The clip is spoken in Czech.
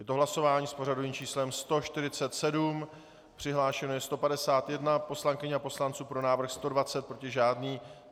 Je to hlasování s pořadovým číslem 147, přihlášeno je 151 poslankyň a poslanců, pro návrh 120, proti žádný.